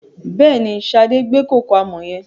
Bẹ́ẹ̀ni, Sade gbé kòkò àmọ̀ yẹn.